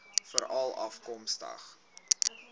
veralafkomstig